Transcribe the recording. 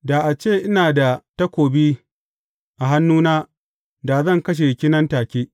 Da a ce ina da takobi a hannuna da zan kashe ki nan take.